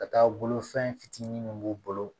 Ka taa bolo fɛn fitinin minnu b'u bolo